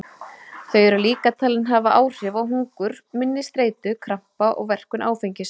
Þau eru líka talin hafa áhrif á hungur, minni, streitu, krampa og verkun áfengis.